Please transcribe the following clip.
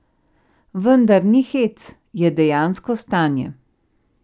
Vendar ni hec, je dejansko stanje.